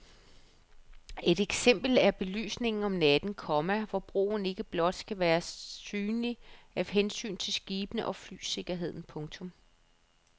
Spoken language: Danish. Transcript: Et eksempel er belysningen om natten, komma hvor broen ikke blot skal være synlig af hensyn til skibene og flysikkerheden. punktum